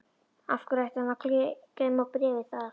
Af hverju ætti hann að geyma bréfið þar?